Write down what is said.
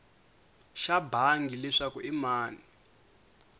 xa bangi leswaku i mani